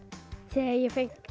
þegar ég fékk